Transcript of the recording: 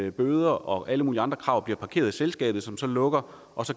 at bøder og alle mulige andre krav bliver parkeret i selskabet som så lukker